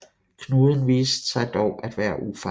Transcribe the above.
Knuden viste sig dog at være ufarlig